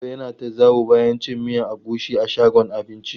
Victor ya na ta zawo bayan cin miyan agushi a shagon abincin.